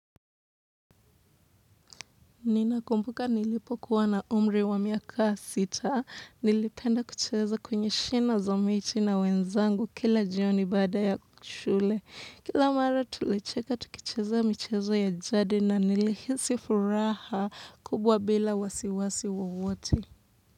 Nina kumbuka nilipo kuwa na umri wa miaka sita, nilipenda kucheza kwenye shina za miti na wenzangu kila jioni baada ya kushule. Kila mara tulicheka tukucheza mcheza ya jadi na nilihisifuraha kubwa bila wasiwasi wowote.